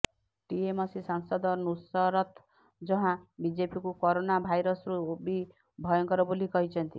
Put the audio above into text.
TMC ସାଂସଦ ନୁସରତ ଜହାଁ ବିଜେପିକୁ corona ଭାଇରସରୁ ବି ଭୟଙ୍କର ବୋଲି କହିଛନ୍ତି